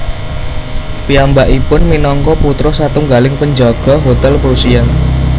Piyambakipun minangka putra satunggaling penjaga hotel Prusia